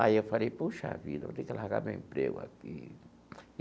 Aí eu falei, puxa vida, vou ter que largar meu emprego aqui.